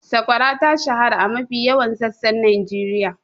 Sakwara ta shahara a mafi yawan sassan Najeriya.